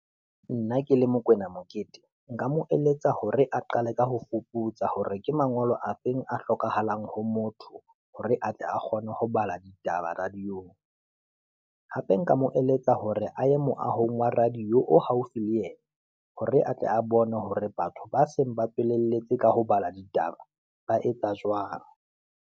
Nna ke le Mokoena Mokete, nka mo eletsa hore a qale ka ho foputsa hore ke mangolo a feng a hlokahalang ho motho, hore atle a kgone ho bala ditaba radio-ng, hape nka mo eletsa hore a ye moahong wa radio-yo haufi le yena. Hore atle a bone hore batho ba seng ba tswelelletse ka ho balwa ditaba ba etsa jwang.